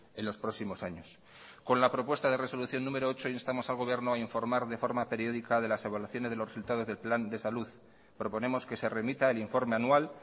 en los próximos años con la propuesta de resolución número ocho instamos al gobierno a informar de forma periódica de las evaluaciones de los resultados del plan de salud proponemos que se remita el informe anual